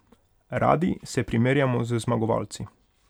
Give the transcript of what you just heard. Radi se primerjamo z zmagovalci.